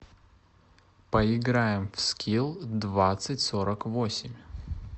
поиграем в скил двадцать сорок восемь